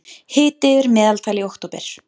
Hiti yfir meðaltali í október